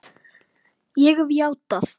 Ég hef játað.